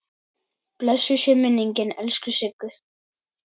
Blessuð sé minning elsku Siggu.